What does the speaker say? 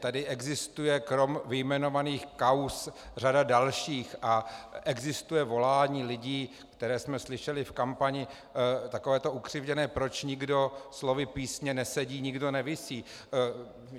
Tady existuje krom vyjmenovaných kauz řada dalších a existuje volání lidí, které jsme slyšeli v kampani, takové to ukřivděné: proč nikdo - slovy písně - nesedí, nikdo nevisí.